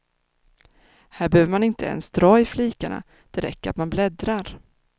Här behöver man inte ens dra i flikar, det räcker att man bläddrar.